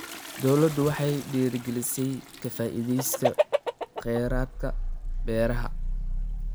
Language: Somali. Dawladdu waxay dhiirigelinaysaa ka faa'iidaysiga kheyraadka beeraha.